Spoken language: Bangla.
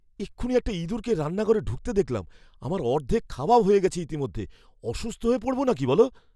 এক্ষুণি একটা ইঁদুরকে রান্নাঘরে ঢুকতে দেখলাম! আমার অর্ধেক খাওয়াও হয়ে গেছে ইতিমধ্যে। অসুস্থ হয়ে পড়ব না কি বলো?